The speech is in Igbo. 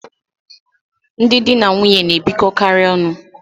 Ndị di na nwunye na-ebikọkarị ọnụ.